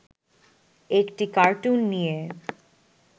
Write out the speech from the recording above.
একটি কার্টুন নিয়ে